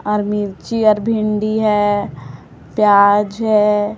और मिर्ची और भिंडी है प्याज है।